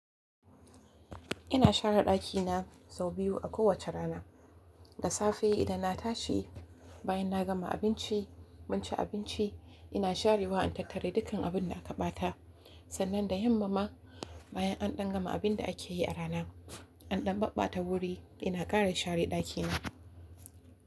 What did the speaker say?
Ina share ɗakina sau biyu a kowace rana. Da safe idan na tashi, bayan na gama abinci, mun ci abinci, ina sharewa in tattara dukkan abin da aka ɓata. Sannan da yamma ma bayan an ɗan gama abin da ake yi a rana, an ɗan maɓɓata wuri ina ƙara share ɗakina.